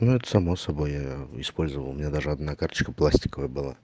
ну это само собой я использовал у меня даже одна карточка пластиковая была